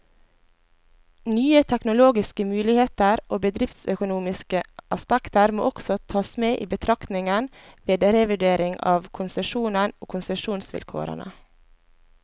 Nye teknologiske muligheter og bedriftsøkonomiske aspekter må også tas med i betraktningen, ved revurdering av konsesjonen og konsesjonsvilkårene.